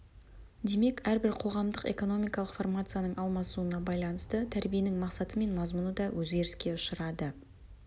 демек әрбір қоғамдық экономикалық формацияның алмасуына байланысты тәрбиенің мақсаты мен мазмұны да өзгеріске ұшырады